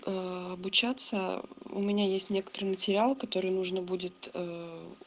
аа обучаться у меня есть некоторые материалы которые нужно будет ээ